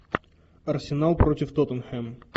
арсенал против тоттенхэм